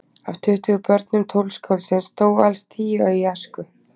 Af tuttugu börnum tónskáldsins dóu alls tíu í æsku.